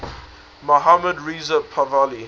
mohammad reza pahlavi